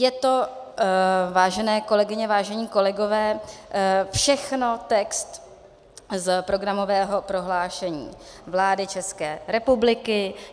Je to, vážené kolegyně, vážení kolegové, všechno text z programového prohlášení vlády České republiky.